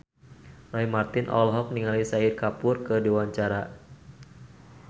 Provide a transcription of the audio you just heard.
Roy Marten olohok ningali Shahid Kapoor keur diwawancara